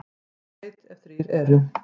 Þjóð veit, ef þrír eru.